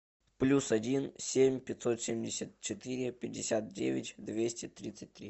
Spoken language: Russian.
плюс один семь пятьсот семьдесят четыре пятьдесят девять двести тридцать три